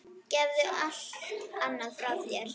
Gefðu allt annað frá þér.